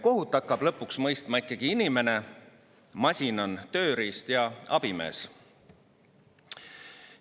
Kohut hakkab lõpuks mõistma ikkagi inimene, masin on tööriist ja abimees.